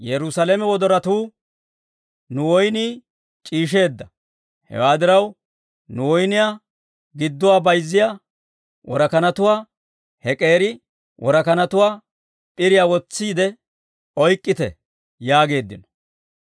Nu woynnii c'iisheedda; hewaa diraw, nu woyniyaa gidduwaa bayzziyaa worakanatuwaa, he k'eeri worakanatuwaa p'iriyaa wotsiide oyk'k'ite yaageeddino.